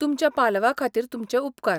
तुमच्या पालवा खातीर तुमचे उपकार.